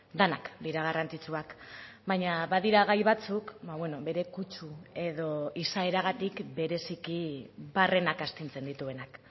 denak dira garrantzitsuak baina badira gai batzuk bere kutsu edo izaeragatik bereziki barrenak astintzen dituenak